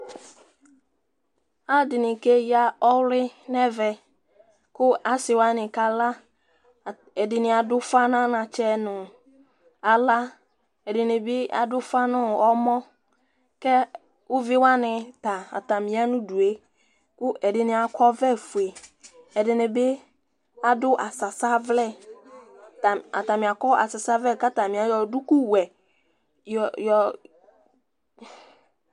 Ɔlɔdini ke ya ɔɣli nu ɛvɛ ku asi wani ka la, ɛdini adu ufa nu anatsɛ nu ala, ɛdini bi adu ufa nu ɔmɔ, kɛ uvi wani ta ata mí ɛlu due ku ɛdini akɔ ɔvlɛ fue ɛdini bi adu asasa vlɛ ka ta ni ayɔ duku wuɛ yɔ